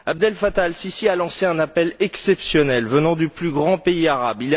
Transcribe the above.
Abdel Fattah al Sissi a lancé un appel exceptionnel venant du plus grand pays arabe.